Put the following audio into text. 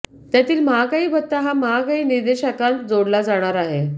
त्यातील महागाई भत्ता या महागाई निर्देशांकात जोडला जाणार आहे